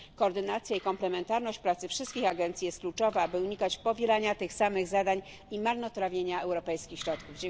Koordynacja i komplementarność pracy wszystkich agencji jest kluczowa, by unikać powielania tych samych zadań i marnotrawienia europejskich środków.